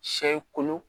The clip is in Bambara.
Sɛ ye kolo